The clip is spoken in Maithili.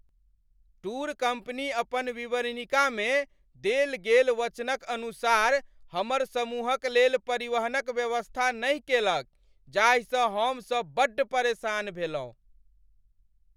टूर कम्पनी अपन विवरणिकामे देल गेल वचनक अनुसार हमर समूहक लेल परिवहनक व्यवस्था नहि केलक जाहिसँ हम सभ बड्ड परेशान भेलहुँ।